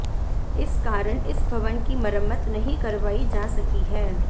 इस कारण इस भवन की मरम्मत नहीं करवाई जा सकी है